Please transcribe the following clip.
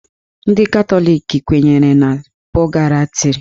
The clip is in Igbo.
Ndị Katọlik kwenyere na pọgatrị.